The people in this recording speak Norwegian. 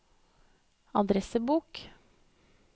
adressebok